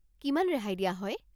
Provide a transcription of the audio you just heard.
কিমান ৰেহাই দিয়া হয়?